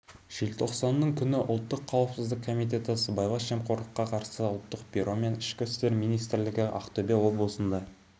желтоқсанның күні ұлттық қауіпсіздік комитеті сыбайлас жемқорлыққа қарсы ұлттық бюро мен ішкі істер министрлігі ақтөбе облысында